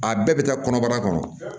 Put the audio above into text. A bɛɛ bɛ taa kɔnɔbara kɔnɔ